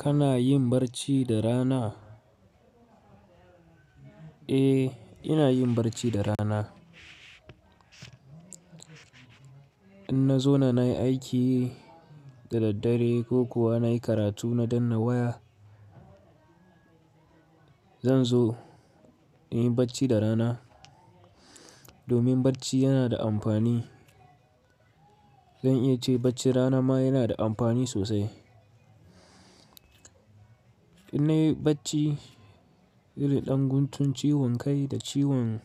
Kana yin barci da rana? Eh, ina yin barci da rana. In na zo na nayi aiki da daddare ko kuwa na yi karatu na dannawaya, zan zo in yi bacci da rana domin barci yana da amfani. Zan iya ce bacci rana ma yana da amfani sosai. In na yi bacci irin ɗan guntun ciwon kai da ciwon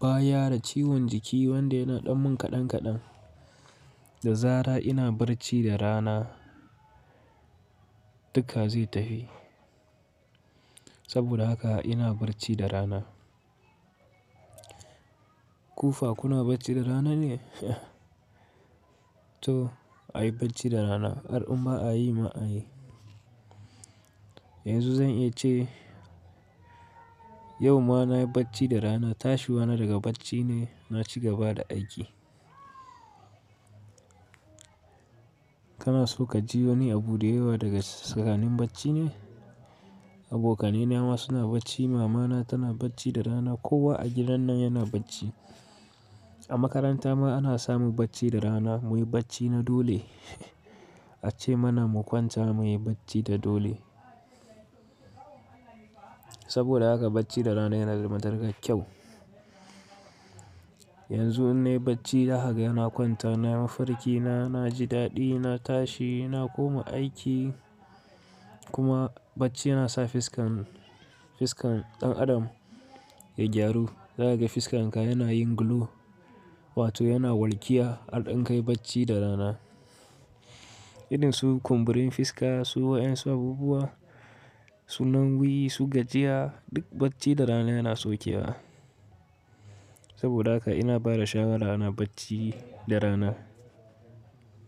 baya da ciwon jiki wanda yana ɗan mun kaɗan kaɗan, da zara' ina barci da rana duka zai tafi. Saboda haka ina bacci da rana. Kufa kuna bacci da rana ne? To a yi bacci da rana, al'umma a yi ma a yi. Yanzu zan iya ce yau ma na yi bacci da rana, tashi wa na daga bacci ne, na ci gaba da aiki. Kana so ka ji wani abu da yawa daga sakanin bacci ne? Abokanai na ma suna bacci, mamana tana bacci da rana, kowa a gidannan yana bacci. A makaranta ma ana samu bacci da rana, muyi bacci na dole. A ce mana mu kwanta muyi bacci da dole. Saboda haka bacci da rana yana da matukar kyau. Yanzu in na yi bacci da haka yana kwanta, na yi mafarki na, na ji daɗi, na tashi, na koma aiki kuma bacci yana sa fiskan, fiskan ɗan adam ya gyaru. Za ka ga fiskanka yana yin glow wato yana walƙiya har in ka yi bacci da rana. Irin su kumburin fiska, su wayan sababuwa, su nan guyi, su gajiya duk bacci da rana yana saukewa. Saboda haka ina ba da shawara ana bacci da rana.